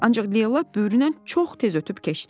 ancaq Leyla böyüründən çox tez ötüb keçdi.